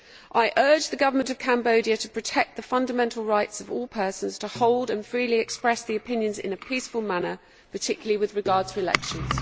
I urge the government of Cambodia to protect the fundamental right of all persons to hold and freely express their opinions in a peaceful manner, particularly with regard to elections.